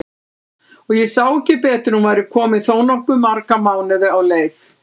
Og ég sá ekki betur en hún væri komin þó nokkuð marga mánuði á leið!